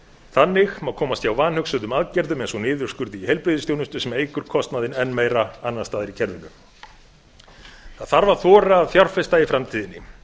þannig má komast hjá vanhugsuðum aðgerðum eins og niðurskurði í heilbrigðisþjónustu sem eykur kostnaðinn enn meira annars staðar í kerfinu það þarf að þora að fjárfesta í framtíðinni